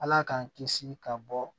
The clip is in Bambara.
Ala k'an kisi ka bɔ